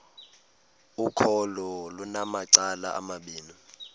ukholo lunamacala amabini